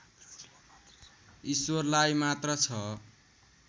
ईश्वरलाई मात्र छ